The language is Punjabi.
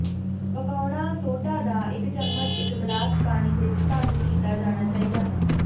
ਪਕਾਉਣਾ ਸੋਡਾ ਦਾ ਇੱਕ ਚਮਚਾ ਇੱਕ ਗਲਾਸ ਪਾਣੀ ਵਿੱਚ ਭੰਗ ਕੀਤਾ ਜਾਣਾ ਚਾਹੀਦਾ ਹੈ